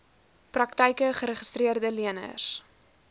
praktyke geregistreede leners